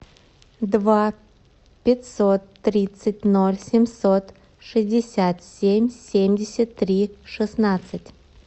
два пятьсот тридцать ноль семьсот шестьдесят семь семьдесят три шестнадцать